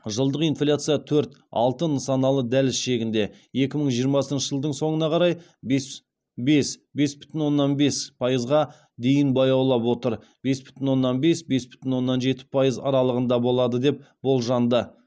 жылдық инфляция төрт алты нысаналы дәліз шегінде екі мың жиырмасыншы жылдың соңына қарай бес бес бес бүтін оннан бес пайызға дейін баяулай отыр бес бүтін оннан бес бес бүтін оннан жеті пайыз аралығында болады деп болжанды